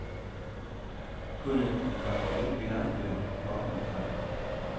Kunne vi komme ud i landsbyerne? spørgsmålstegn